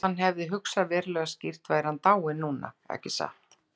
Ef hann hefði hugsað verulega skýrt væri hann dáinn núna, ekki satt?